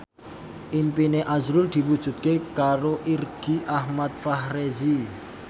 impine azrul diwujudke karo Irgi Ahmad Fahrezi